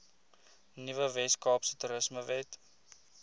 nuwe weskaapse toerismewet